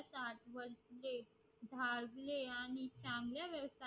आणि चांगला यवसाय